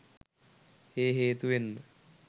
ඒ හේතුවෙන්ම